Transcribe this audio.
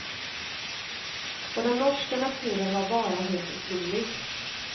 Och den norska naturen var bara helt otrolig.